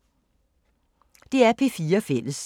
DR P4 Fælles